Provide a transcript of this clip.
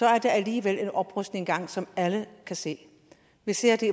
er der alligevel en oprustning i gang som alle kan se vi ser det